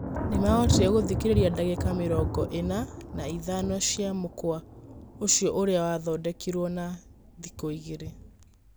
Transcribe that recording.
Nĩmahotire gũthĩkĩrĩria dagĩka mĩrongo ĩna na ĩthano cia mũkwa ũcio ũrĩa wathondekirwo na thĩkũigirĩ.